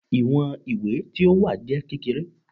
Iwọn iwe ti o wa jẹ kekere